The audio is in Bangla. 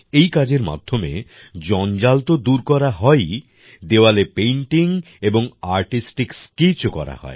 এই কাজের মাধ্যমে জঞ্জাল তো দূর করা হয়ই দেওয়ালে পেইন্টিং এবং আর্টিস্টিক স্কেচেসও করা হয়